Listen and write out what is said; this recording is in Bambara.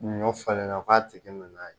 Ɲɔ falen na u k'a tigi minɛ n'a ye